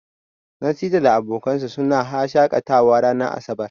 Nasir da abokansa suna haa shakatawa ranar asabar.